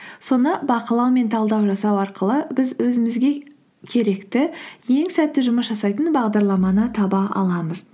соны бақылау мен талдау жасау арқылы біз өзімізге керекті ең сәтті жұмыс жасайтын бағдарламаны таба аламыз